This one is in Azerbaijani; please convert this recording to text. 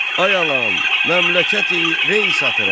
Ay alan, məmləkəti Rey satıram!